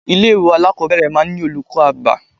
Ilé ìwé alákọ̀ọ́bẹ̀rẹ̀ máa ń ní olùkọ́ àgbà.